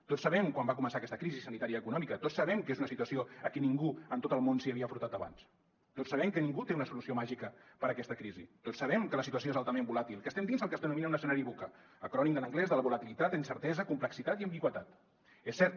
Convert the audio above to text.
tots sabem quan va començar aquesta crisi sanitarioeconòmica tots sabem que és una situació a qui ningú en tot el món s’hi havia enfrontat abans tots sabem que ningú té una solució màgica per a aquesta crisi tots sabem que la situació és altament volàtil que estem dins del que es denomina un escenari vuca acrònim en anglès de volatilitat incertesa complexitat i ambigüitat és cert